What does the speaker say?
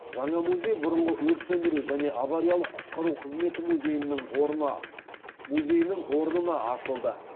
жаңа музей бұрынғы өрт сөндіру және авариялық құтқару қызметі музейінің орнына ашылды